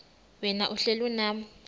wena uhlel unam